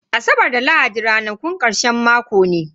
Asabar da lahadi ranakun karshen mako ne.